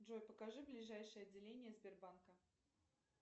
джой покажи ближайшее отделение сбербанка